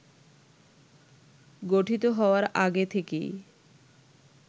গঠিত হওয়ার আগে থেকেই